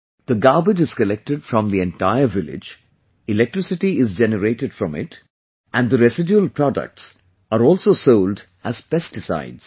The garbage is collected from the entire village, electricity is generated from it and the residual products are also sold as pesticides